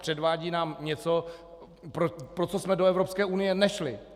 Předvádí nám něco, pro co jsme do Evropské unie nešli.